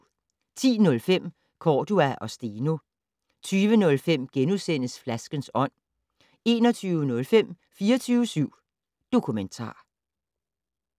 10:05: Cordua og Steno 20:05: Flaskens ånd * 21:05: 24syv Dokumentar